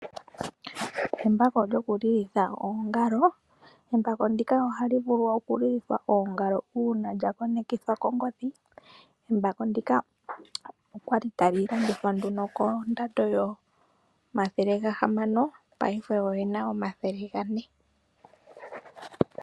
Embako lyoku lilitha oongalo Embako ndika ohali vulu oku lilithwa oongalo uuna lya konekithwa kongodhi. Embako ndika okwali tali landithwa nduno kondando yomathele gahamano paife ogena omathele ga ne .